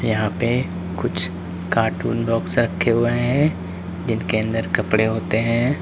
यहां पे कुछ कार्टून बॉक्स रखे हुए हैं जिनके अंदर कपड़े होते हैं।